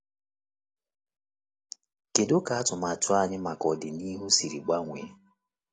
Kedu ka atụmatụ anyị maka ọdịnihu siri gbanwee?